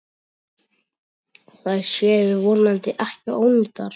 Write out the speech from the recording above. Þær séu vonandi ekki ónýtar.